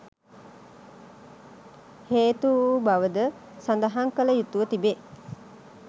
හේතු වූ බවද සඳහන් කළ යුතුව තිබේ.